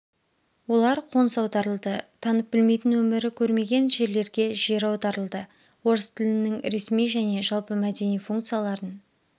олар қоныс аударылды танып білмейтін өмірі көрмеген жерлерге жер аударылды орыс тілінң ресми және жалпымәдени функцияларын